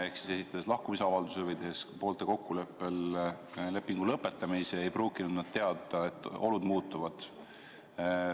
Ehk siis esitades lahkumisavalduse või tehes poolte kokkuleppel lepingu lõpetamisi, ei pruukinud nad teada, et olud muutuvad.